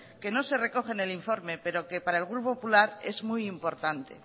que no se recoge en el informe pero que para el grupo popular es muy importante